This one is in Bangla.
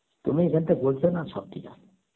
তুমি এইখানটা সব ঠিক আছে